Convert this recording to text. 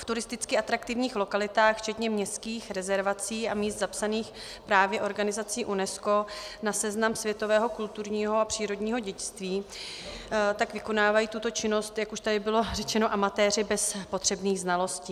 V turisticky atraktivních lokalitách včetně městských rezervací a míst zapsaných právě organizací UNESCO na seznam světového kulturního a přírodního dědictví tak vykonávají tuto činnost, jak už tady bylo řečeno, amatéři bez potřebných znalostí.